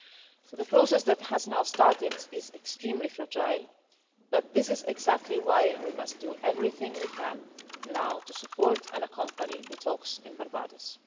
So the process that has now started is extremely fragile, but this is exactly why we must now do everything we can to support and accompany the talks in Barbados.